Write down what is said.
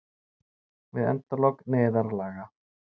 Vill endalok neyðarlaga